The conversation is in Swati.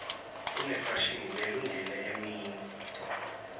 kunefashini lelungele emini